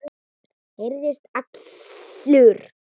Herðist allur.